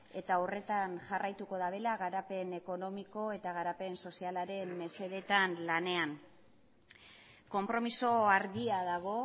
eta horretan jarraituko dutela garapen ekonomiko eta garapen sozialaren mesedetan lanean konpromiso argia dago